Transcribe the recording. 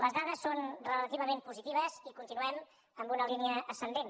les dades són relativament positives i continuem en una línia ascendent